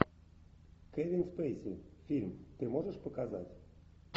кевин спейси фильм ты можешь показать